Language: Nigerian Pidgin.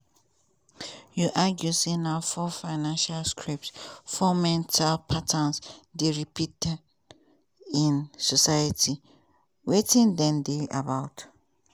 you argue say na four financial scripts four mental patterns dey repeated in society wetin dem dey about?